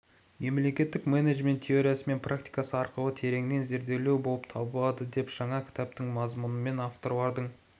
мемлекеттік менеджмент теориясы мен практикасы арқылы тереңнен зерделеу болып табылады деп жаңа кітаптың мазмұнымен авторлардың